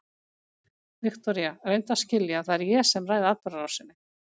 Viktoría, reyndu að skilja að það er ég sem ræð atburðarásinni.